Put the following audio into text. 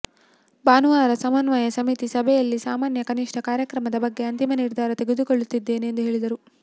ಭಾನುವಾರ ಸಮನ್ವಯ ಸಮಿತಿ ಸಭೆಯಲ್ಲಿ ಸಾಮಾನ್ಯ ಕನಿಷ್ಠ ಕಾರ್ಯಕ್ರಮದ ಬಗ್ಗೆ ಅಂತಿಮ ನಿರ್ಧಾರ ತೆಗೆದುಕೊಳ್ಳುತ್ತೇವೆ ಎಂದು ಹೇಳಿದರು